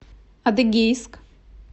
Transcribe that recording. адыгейск